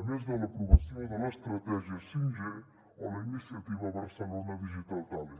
a més de l’aprovació de l’estratègia 5g o la iniciativa barcelona digital talent